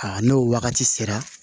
Aa n'o wagati sera